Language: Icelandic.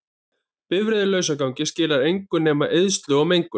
Bifreið í lausagangi skilar engu nema eyðslu og mengun.